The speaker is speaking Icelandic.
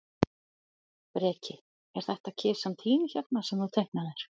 Breki: Er þetta kisan þín hérna, sem þú teiknaðir?